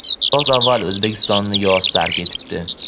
Biroz avval O‘zbekistonni yoz tark etibdi.